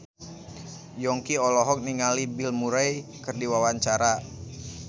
Yongki olohok ningali Bill Murray keur diwawancara